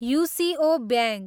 UCO bank